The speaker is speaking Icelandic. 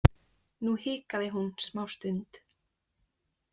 Nú hikaði hún smástund.